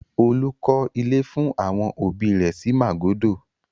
Olú klọ́ ilé fún àwọn òbí rẹ̀ sí Màgódò.